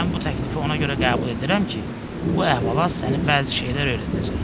Mən bu təklifi ona görə qəbul edirəm ki, bu əhvalat sənə bəzi şeylər öyrədəcək.